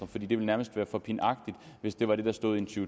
for det ville nærmest være for pinagtigt hvis det var det der stod i en to